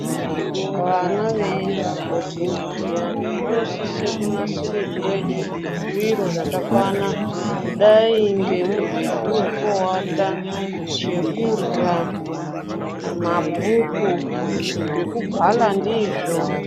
Vana veiende kubhodhingi zviyani vanosise kunasirirwe zviro zvakakwana, kudayi ngemubhedhu wokuowata, chekurya, mabhuku, zvokubhala ndizvo.